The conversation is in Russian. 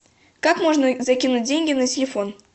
как можно закинуть деньги на телефон